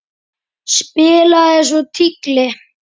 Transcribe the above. Spilaði svo tígli.